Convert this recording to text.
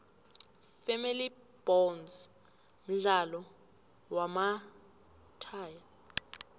family bonds mdlalo wamahtaya